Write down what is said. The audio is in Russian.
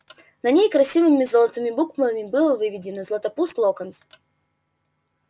на ней красивыми золотыми буквами было выведено златопуст локонс